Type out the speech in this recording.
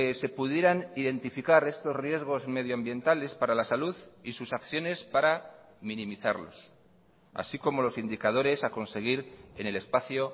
se pudieran identificar estos riesgos medioambientales para la salud y sus acciones para minimizarlos así como los indicadores a conseguir en el espacio